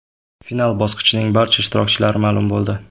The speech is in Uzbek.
Final bosqichining barcha ishtirokchilari ma’lum bo‘ldi.